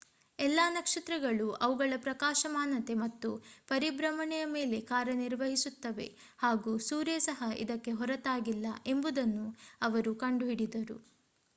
ಎಲ್ಲಾ ನಕ್ಷತ್ರಗಳು ಅವುಗಳ ಪ್ರಕಾಶಮಾನತೆ ಮತ್ತು ಪರಿಭ್ರಮಣೆಯ ಮೇಲೆ ಕಾರ್ಯನಿರ್ವಹಿಸುತ್ತವೆ ಹಾಗೂ ಸೂರ್ಯ ಸಹ ಇದಕ್ಕೆ ಹೊರತಾಗಿಲ್ಲ ಎಂಬುದನ್ನು ಅವರು ಕಂಡುಕೊಂಡರು